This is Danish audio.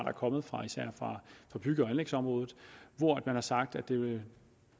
er kommet fra især bygge og anlægsområdet hvor man har sagt at det